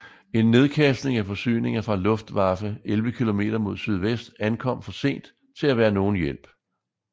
En nedkastning af forsyninger fra Luftwaffe 11 km mod sydvest ankom for sent til at være nogen hjælp